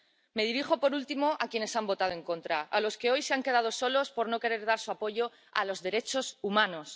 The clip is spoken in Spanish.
Me dirijo, por último, a quienes han votado en contra, a los que hoy se han quedado solos por no querer dar su apoyo a los derechos humanos.